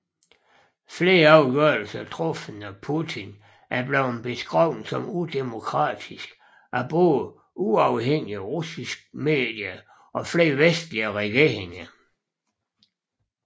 Flere afgørelser truffet af Putin er blevet beskrevet som udemokratisk af både uafhængige russiske medier og flere vestlige regeringer